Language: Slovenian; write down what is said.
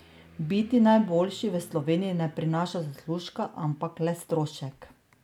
Biti najboljši v Sloveniji ne prinaša zaslužka, ampak le strošek.